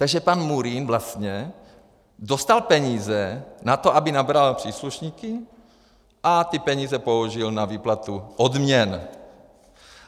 Takže pan Murín vlastně dostal peníze na to, aby nabral příslušníky, a ty peníze použil na výplatu odměn.